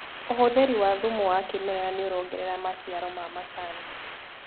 ũhũthĩri wa thumu wa kĩmerera nĩũrongerera maciaro ma macani.